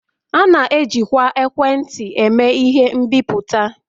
A na-ejikwa ekwentị eme ihe mbipụta